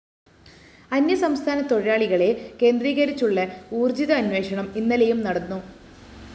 അന്യസംസ്ഥാന തൊഴിലാളികളെ കേന്ദ്രീകരിച്ചുള്ള ഊര്‍ജിത അന്വേഷണം ഇന്നലെയും നടന്നു